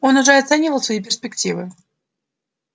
он уже оценивал свои перспективы